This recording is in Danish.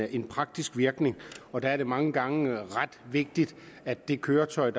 i praksis og der er det mange gange ret vigtigt at det køretøj